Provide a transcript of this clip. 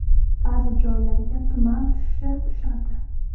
Ba’zi joylarga tuman tushishi tushadi.